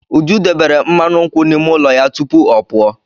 Uju debere mmanụ nkwụ n'ime ụlọ ya tupu ọ pụọ.